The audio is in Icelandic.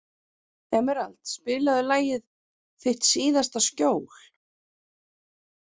Emerald, spilaðu lagið „Þitt síðasta skjól“.